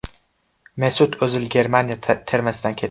Mesut O‘zil Germaniya termasidan ketdi.